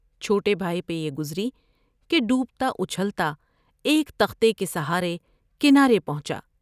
چھوٹے بھائی پر یہ گزری کہ ڈوبتا اچھلتا ایک تختے کے سہارے کنارے پہنچا ۔